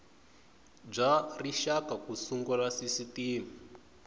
bya rixaka ku sungula sisitimi